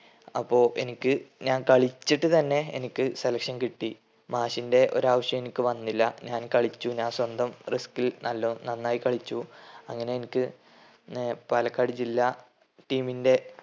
അപ്പൊ എനിക്ക് ഞാൻ കളിച്ചിട്ട് തന്നെ എനിക്ക് selection കിട്ടി. മാഷിന്റെ ഒരാവശ്യോം എനിക്ക് വന്നില്ല. ഞാൻ കളിച്ചു ഞാൻ സ്വന്തം risk ൽ നല്ലോ നന്നായി കളിച്ചു. അങ്ങനെ എനിക്ക് ഏർ പാലക്കാട് ജില്ലാ ടീമിന്റെ